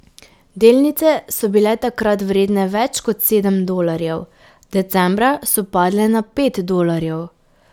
Delnice so bile takrat vredne več kot sedem dolarjev, decembra so padle na pet dolarjev.